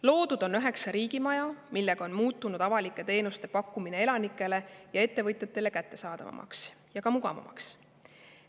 Loodud on üheksa riigimaja, millega on muutunud avalike teenuste pakkumine elanikele ja ettevõtjatele kättesaadavamaks ja ka mugavamaks.